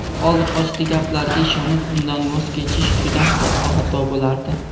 oldi-qochdi gaplarga ishonib undan voz kechish juda katta xato bo‘lardi.